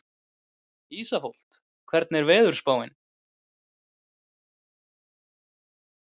Ísafold, hvernig er veðurspáin?